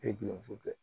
E ye dulonso kɛ